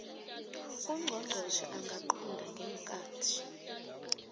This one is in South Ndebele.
ungqongqotjhe angaqunta ngeenkhathi